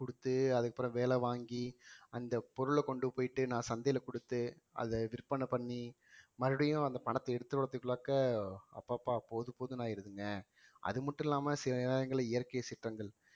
குடுத்து அதுக்கப்புறம் வேலை வாங்கி அந்த பொருள கொண்டு போய்ட்டு நான் சந்தையில கொடுத்து அதை விற்பனை பண்ணி மறுபடியும் அந்த பணத்தை எடுத்து வர்றதுக்கு உள்ளாக்க அப்பப்பா போதும் போதும்னு ஆயிருதுங்க அது மட்டும் இல்லாம சில நேரங்கள்ல இயற்கை சீற்றங்கள்